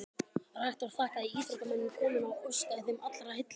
Rektor þakkaði íþróttamönnum komuna og óskaði þeim allra heilla.